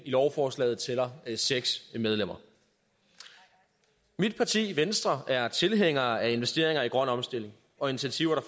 lovforslaget tæller seks medlemmer mit parti venstre er tilhængere af investeringer i grøn omstilling og initiativer